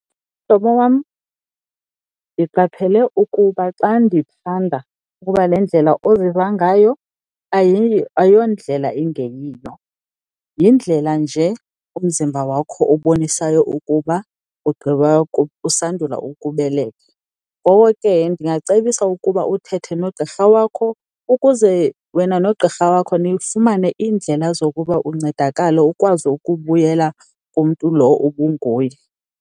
Mhlobo wam, ndiqaphele ukuba xa ndiphanda ukuba le ndlela oziva ngayo ayondlela engeyiyo, yindlela nje umzimba wakho obonisayo ukuba ugqiba usandula ukubeleka. Ngoko ke ndingacebisa ukuba uthethe nogqirha wakho ukuze wena nogqirha wakho nifumane iindlela zokuba uncedakale, ukwazi ukubuyela kumntu lo ubunguye.